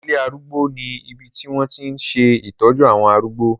Ilé arúgbó ní ibi tí wọ́n tí ń ṣe ìtọ́jú àwọn arúgbó.